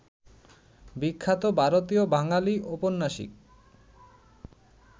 বিখ্যাত ভারতীয় বাঙালি ঔপন্যাসিক